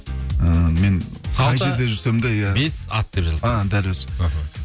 ііі мен қай жерде жүрсем де иә бес ат деп жазылып тұр і дәл өзі іхі